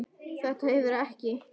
Þetta hefur ekki?